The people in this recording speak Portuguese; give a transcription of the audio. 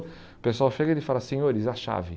O pessoal chega e ele fala, senhores, a chave.